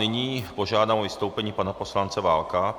Nyní požádám o vystoupení pana poslance Válka.